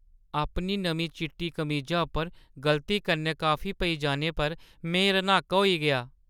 अपनी नमीं चिट्टी कमीजा उप्पर गलती कन्नै कॉफी पेई जाने पर में रन्हाका होई गेआ।